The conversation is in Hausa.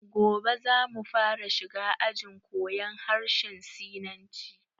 Gobe zamu fara shiga ajin koyan harshen sinanci